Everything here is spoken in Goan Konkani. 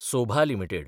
सोभा लिमिटेड